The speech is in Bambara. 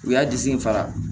U y'a disi in fara